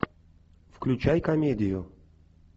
включай комедию